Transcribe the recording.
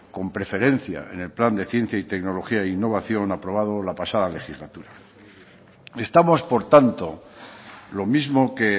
con preferencia en el plan de ciencia y tecnología e innovación aprobado la pasada legislatura estamos por tanto lo mismo que